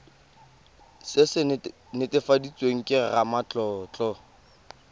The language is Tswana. se se netefaditsweng ke ramatlotlo